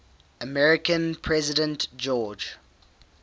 american president george